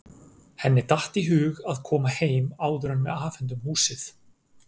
Henni datt í hug að koma heim áður en við afhendum húsið.